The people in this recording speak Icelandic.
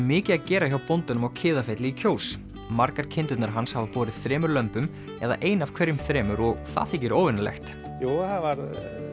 mikið að gera hjá bóndanum á Kiðafelli í Kjós margar kindurnar hans hafa borið þremur lömbum eða ein af hverjum þremur og það þykir óvenjulegt jú það var